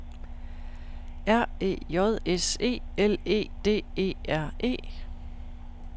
R E J S E L E D E R E